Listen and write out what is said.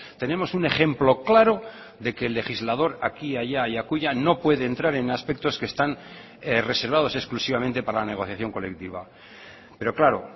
tenemos un ejemplo claro de que el legislador aquí allá y acullá no puede entrar en aspectos que están reservados exclusivamente para la negociación colectiva pero claro